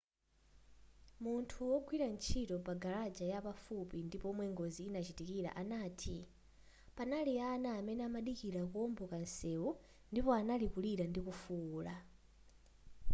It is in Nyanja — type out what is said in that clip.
munthu wogwira ntchito pa garaja yapafupi ndi pomwe ngozi inachitikila anati panali ana amene amadikila kuomboka nseu ndipo anali kulira ndikufuula